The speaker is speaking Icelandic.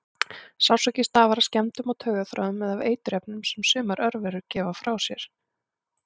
Sársauki stafar af skemmdum á taugaþráðum eða af eiturefnum sem sumar örverur gefa frá sér.